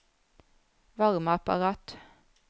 varmeapparat